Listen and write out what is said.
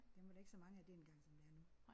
Dem var der ikke så mange af dengang som der er nu